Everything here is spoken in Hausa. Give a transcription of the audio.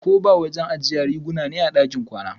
koba wajen ajiya riguna ne a ɗakin kwana.